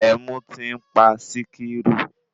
Ẹmu tí ń pa Sikiru.